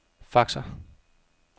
faxer